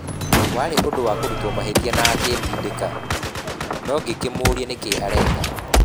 Warĩ ũndũ wa kũrutwo mahĩtia na akĩndindĩka, na ngĩmũũria nĩ kĩĩ areka.?